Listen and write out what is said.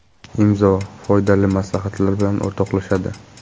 Imzo foydali maslahatlar bilan o‘rtoqlashadi.